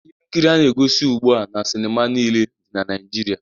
Ihe nkiri a na-egosi ugbu a na sinima niile dị na Naịjirịa